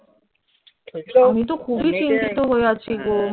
আমিতো খুবই চিন্তিত হয়ে আছি গো